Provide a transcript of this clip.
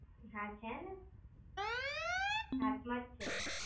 હા છે ને! હાથ માં જ છે.